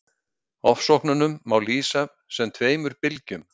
Ofsóknunum má lýsa sem tveimur bylgjum.